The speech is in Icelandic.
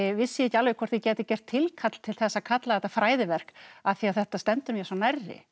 vissi ég ekki alveg hvort ég gæti gert tilkall til þess að kalla þetta fræðiverk af því að þetta stendur mér svo nærri